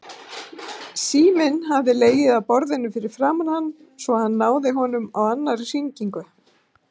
Síminn hafði legið á borðinu fyrir framan hann svo hann náði honum á annarri hringingu.